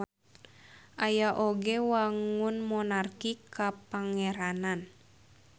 Aya oge wangun monarki kapangeranan.